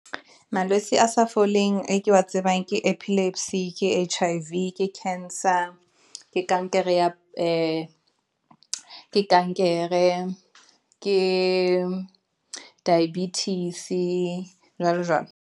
Malwetse a sa foleng e ke wa tsebang ke epilepsy, ke H_I_V ke cancer ke kankere ke diabetes, jwalo jwalo.